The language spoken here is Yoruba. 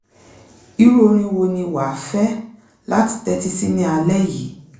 irú orin wo ni wà á fẹ́ láti tẹ́tí sí ní alẹ́ yìí?